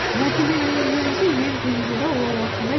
мәселенің меніңше ең қиын жері ол осында